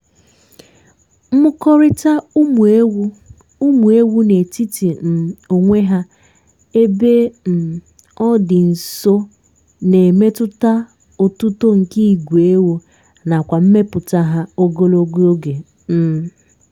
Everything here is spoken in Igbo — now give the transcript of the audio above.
ịmụ̀kọrịta ụmụ ewu ụmụ ewu n'etiti um onwe ha ébé um ọ dị nso na-emetụta otuto nke ìgwè ewu nakwa mmepụta hà ogologo oge. um